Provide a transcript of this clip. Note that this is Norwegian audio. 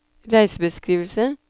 reisebeskrivelse